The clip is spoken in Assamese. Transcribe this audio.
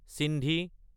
চিন্ধি